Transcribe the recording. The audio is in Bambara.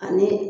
Ani